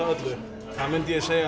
það myndi ég segja